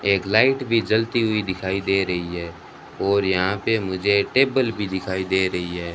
एक लाइट भी जलती हुई दिखाई दे रही है और यहां पे मुझे टेबल भी दिखाई दे रही है।